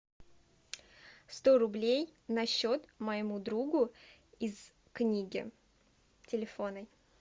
сто рублей на счет моему другу из книги телефонной